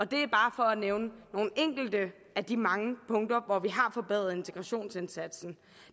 det er bare for at nævne nogle enkelte af de mange punkter hvor vi har forbedret integrationsindsatsen